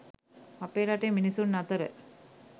අපේ රටේ මිනිසුන් අතර